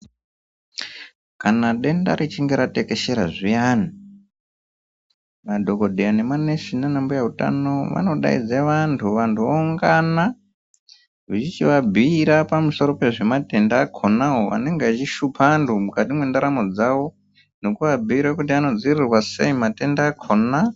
Kana denda richinge ratekeshera zviyani madhokodheya nemanesi nana mbuya utano vanodaidze antu vantu voungana vechichivabhiira pamusoro pezvematenda akhona anenge achishupa antu mukati mwendaramo dzawo nekuabhiire kuti anodziirirwa sei matenda akhona.